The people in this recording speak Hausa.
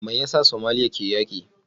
Me yasa Somalia ke yaki?